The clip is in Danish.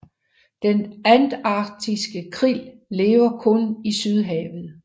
Den antarktiske krill lever kun i Sydhavet